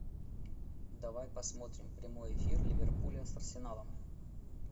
давай посмотрим прямой эфир ливерпуля с арсеналом